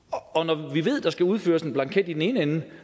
vi ved at når der skal udfyldes en blanket i den ene ende